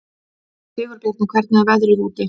Sigurbjarni, hvernig er veðrið úti?